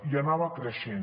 i anava creixent